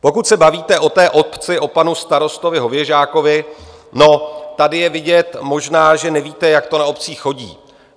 Pokud se bavíte o té obci, o panu starostovi Hověžákovi, no, tady je vidět, možná že nevíte, jak to na obcích chodí.